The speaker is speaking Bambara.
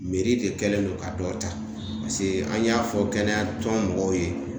de kɛlen don ka dɔ ta an y'a fɔ kɛnɛyatɔn mɔgɔw ye